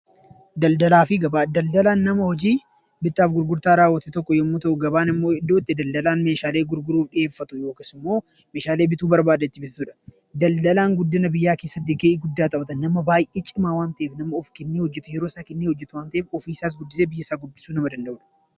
Daldalaan nama hojii bittaa fi gurgurtaa raawwatu yoo ta'u, gabaan immoo iddoo itti daldalaan meeshaalee gurguruu fi akkasumas immoo meeshaalee bituu barbaade ittiin bitudha. Daldalaan guddina biyyaa keessatti gahee guddaa taphata nama baay'ee cimaa waan ta'eef nama of kennee hojjatee yeroo isaa kennee hojjatu waan ta'eef, ofiisaa fi biyya isaas guddisuu nama danda'udha.